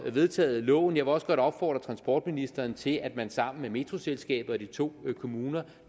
vedtaget loven jeg vil også godt opfordre transportministeren til at man sammen med metroselskabet og de to kommuner